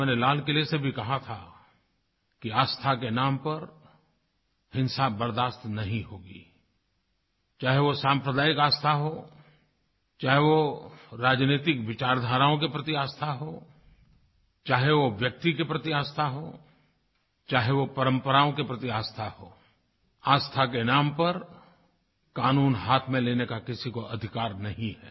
मैंने लाल किले से भी कहा था कि आस्था के नाम पर हिंसा बर्दाश्त नहीं होगी चाहे वो सांप्रदायिक आस्था हो चाहे वो राजनैतिक विचार धाराओं के प्रति आस्था हो चाहे वो व्यक्ति के प्रति आस्था हो चाहे वो परम्पराओं के प्रति आस्था हो आस्था के नाम पर कानून हाथ में लेने का किसी को अधिकार नहीं है